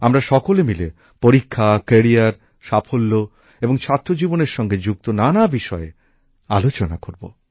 আমরা সকলে মিলে পরীক্ষা কেরিয়ার সাফল্য এবং ছাত্রজীবনের সঙ্গে যুক্ত নানা বিষয়ে আলোচনা করব